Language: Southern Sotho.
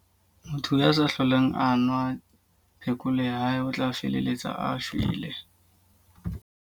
Motho ya sa hlolang a nwa phekolo ya hae, o tla feleletsa a shwele.